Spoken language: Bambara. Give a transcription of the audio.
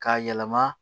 K'a yɛlɛma